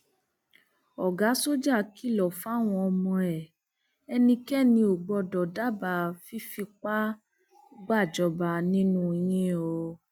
ọgá sọjà kìlọ fáwọn ọmọ ẹ ẹnikẹni ò gbọdọ dábàá fífipá gbàjọba nínú yín o